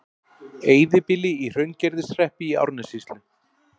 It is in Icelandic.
Eyðibýli í Hraungerðishreppi í Árnessýslu.